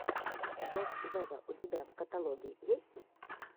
зедд вево у тебя в каталоге есть